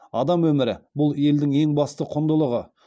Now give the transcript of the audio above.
адам өмірі бұл елдің ең басты құндылығы